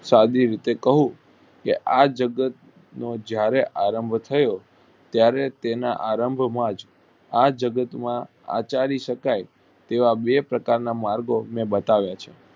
સાદી રીતે કવ કે આ જગત નો જયારે આરંભ થયો ત્યારે તેના આરંભ માં જ આ જગત માં આચારી શકાય એવા બે પ્રકાર ના માર્ગો તમને બતાવ્યા છે.